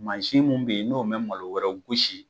Mansin mun bɛ ye n'o mɛn malo wɛrɛw gusi.